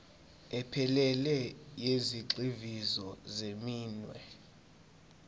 ephelele yezigxivizo zeminwe